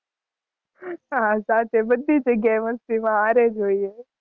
હાં સાથે બધી જગ્યા એ મસ્તી માં હારે જ હોઈએ.